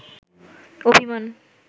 অভিমান